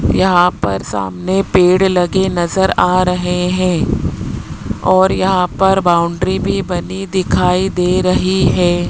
यहां पर सामने पेड़ लगे नजर आ रहे है और यहां पर बाउंड्री भी बनी दिखाई दे रही है।